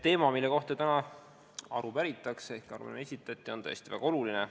Teema, mille kohta täna aru päritakse ehk millel arupärimine esitati, on tõesti väga oluline.